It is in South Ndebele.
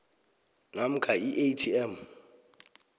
namkha i atm